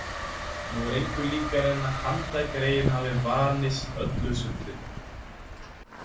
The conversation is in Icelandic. Nú er engu líkara en handagreyin hafi vanist öllu sullinu.